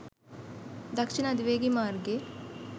දක්ෂිණ අධිවේගී මාර්ගයේ